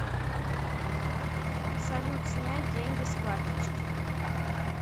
салют снять деньги с карточки